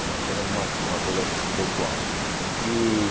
É apenas uma uma coisa pessoal. E